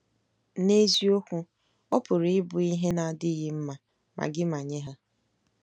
N'eziokwu, ọ pụrụ ịbụ ihe na-adịghị mma, ma gị ma nye ha.